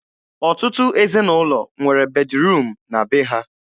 Ọtụtụ ezinụlọ nwere bediruum na be ha.